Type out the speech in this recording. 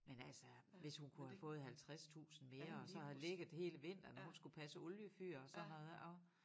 Men altså hvis hun kunne have fået 50 tusind mere og det så havde ligget hele vinteren og hun skulle passe oliefyr og sådan noget og